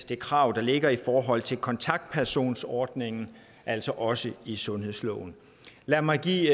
det krav der ligger i forhold til kontaktpersonsordningen altså også i sundhedsloven lad mig give